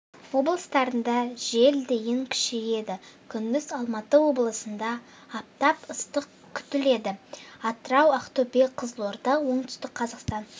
облыстарында жел дейін күшейеді күндіз алматы облысында аптап ыстық күтіледі атырау ақтөбе қызылорда оңтүстік қазақстан